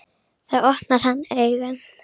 Þá opnar hann augun.